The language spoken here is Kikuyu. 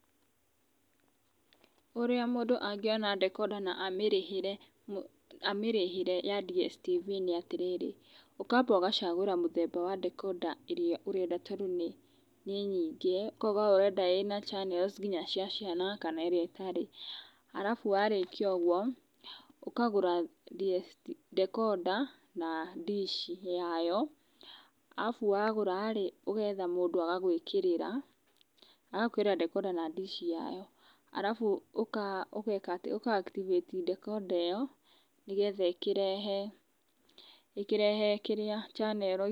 Ũria mũndũ angĩona dekondana amĩrĩhĩre, amĩrĩhĩre ya Dstv nĩ atĩrĩrĩ, ũkamba ũgacagũra muthemba wa dekondaĩrĩa urenda tondũ nĩ nyingi ũkauga we urendaĩna channels nginya cia ciana kana ĩrĩa ĩtarĩ arabu warĩkia ũguo, ũkagura dekonda na dish ya you arabu wagũra rĩ, ũgetha mũndũ agagũĩkĩrĩra, agagũĩkĩrĩra dekonda na dish yayo. Arabu ũgeka atĩ, ũka activate dekonda ĩyo nĩgetha ĩkĩrehe kĩrĩa channel.